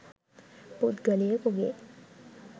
පුද්ගලයෙකුගේ